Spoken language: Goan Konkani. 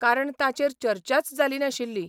कारण ताचेर चर्चाच जाली नाशिल्ली.